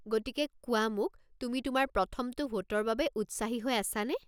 গতিকে কোৱা মোক, তুমি তোমাৰ প্ৰথমটো ভোটৰ বাবে উৎসাহী হৈ আছানে?